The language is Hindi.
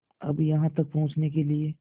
अब यहाँ तक पहुँचने के लिए